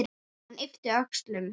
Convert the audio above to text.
Hann yppir öxlum.